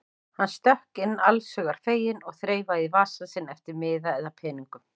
Hann stökk inn allshugar feginn og þreifaði í vasa sinn eftir miða eða peningum.